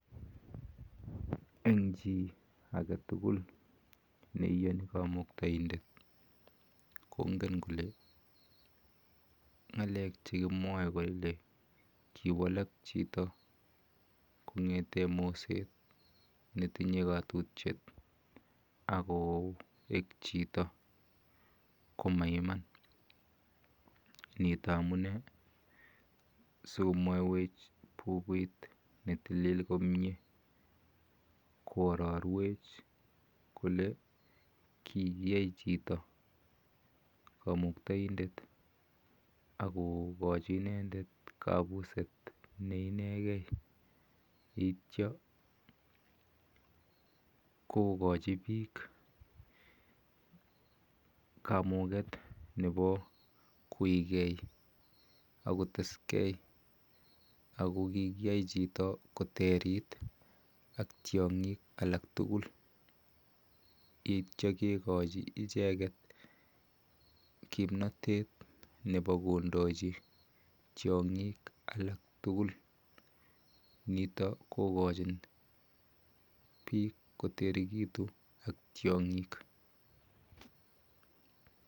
Eng chi aketukul neiyoni kamuktainde kongen kole ng'alek chekimwoe kiwalak chito kong'ete moset netinye katutiet akoek chito ko maiman nito amune sikomwoiwech bukuit netilil komie kuororwech kole kikiyai chito kamuktoindet akokochi inendet kabuset neinegei yeityo kokochi biik kamuket nepo koigei akoteskei ako kikiyai chito koterit ak tiong'ik alak tugul yeityo kekochi icheket kimnotet nepo kondochi tiong'ik alak tugul. Nitok kokochin biik koterikitu ak tiong'ik.